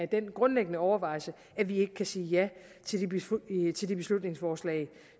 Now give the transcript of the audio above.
den grundlæggende overvejelse at vi ikke kan sige ja til det beslutningsforslag